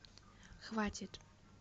хватит